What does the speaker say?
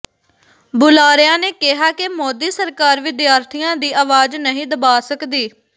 ਬੁਲਾਰਿਆਂ ਨੇ ਕਿਹਾ ਕਿ ਮੋਦੀ ਸਰਕਾਰ ਵਿਦਿਆਰਥੀਆਂ ਦੀ ਆਵਾਜ਼ ਨਹੀਂ ਦਬਾ ਸਕਦੀ